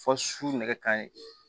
Fɔ su nɛgɛ kanɲɛ